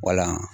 Wala